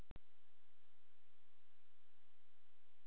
Undanfarin ár hefur svokölluð fjarbúð orðið æ algengara fyrirkomulag.